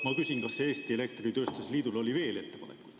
Ma küsin, kas Eesti Elektritööstuse Liidul oli veel ettepanekuid.